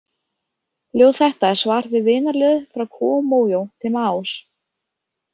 Ljóð þetta er svar við vinarljóði fra Kúó Mójó til Maós.